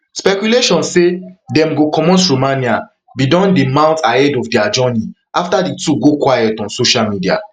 speculation say dem go comot romania bin don dey mount ahead of dia journey after di two go quiet on social media